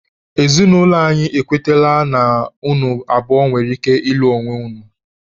Ezinụlọ anyị ekwetala na unu abụọ nwere ike ịlụ onwe unu.